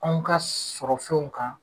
An ka sɔrɔ fɛnw kan.